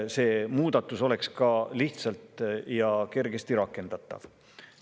See muudatus peab olema ka lihtsalt ja kergesti rakendatav.